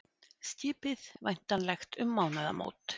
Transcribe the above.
Skipið væntanlegt um mánaðamót